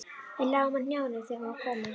Við lágum á hnjánum þegar hér var komið.